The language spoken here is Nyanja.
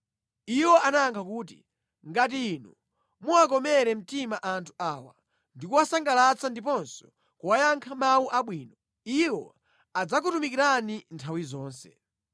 Iwo anayankha kuti, “Ngati inu muwakomera mtima anthu awa ndi kuwasangalatsa ndiponso kuwayankha mawu abwino, iwo adzakutumikirani nthawi zonse.”